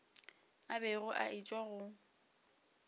a bego a etšwa go